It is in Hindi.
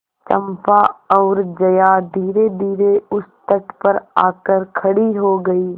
चंपा और जया धीरेधीरे उस तट पर आकर खड़ी हो गई